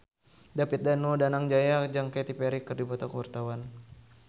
David Danu Danangjaya jeung Katy Perry keur dipoto ku wartawan